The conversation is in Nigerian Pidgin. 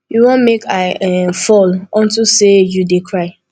you wan make i um fall unto say you dey cry